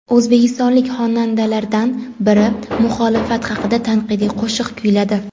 O‘zbekistonlik xonandalardan biri muxolifat haqida tanqidiy qo‘shiq kuyladi.